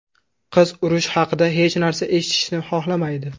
Qiz urush haqida hech narsa eshitishni xohlamaydi.